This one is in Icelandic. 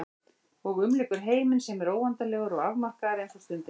Og umlykur heiminn sem er óendanlegur og afmarkaður eins og stundin.